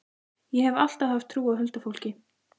Ég hef alltaf haft trú á huldufólki.